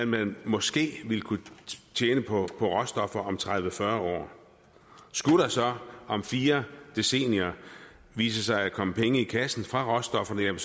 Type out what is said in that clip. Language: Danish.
man måske ville kunne tjene på råstoffer om tredive til fyrre år skulle der så om fire decennier vise sig at komme penge i kassen fra råstofferne er